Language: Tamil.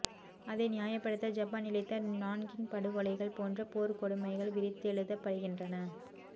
அதை நியாயப்படுத்த ஜப்பான் இழைத்த நான்கிங் படுகொலைகள் போன்ற போர்க்கொடுமைகள் விரித்தெழுதப்படுகின்றன